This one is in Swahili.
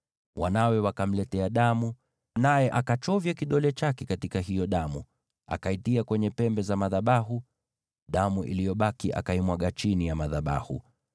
Wanawe wakamletea damu, naye akachovya kidole chake katika hiyo damu, akaitia kwenye pembe za madhabahu, nayo damu iliyobaki akaimwaga chini ya madhabahu.